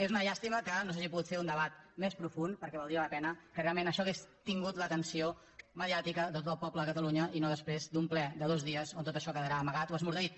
és una llàstima que no s’hagi pogut fer un debat més profund perquè valdria la pena que realment això hagués tingut l’atenció mediàtica de tot el poble de catalunya i no després d’un ple de dos dies on tot això quedarà amagat o esmorteït